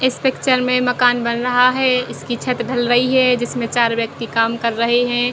इस पिक्चर में मकान बन रहा है इसकी छत ढल रही है जिसमे चार व्यक्ति काम कर रहे है।